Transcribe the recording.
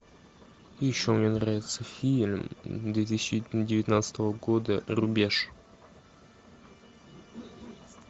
еще мне нравится фильм две тысячи девятнадцатого года рубеж